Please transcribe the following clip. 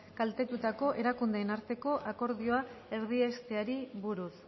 kaltetutako erakundeen arteko akordioa erdiesteari buruz